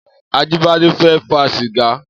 Ajibade fè fà sigá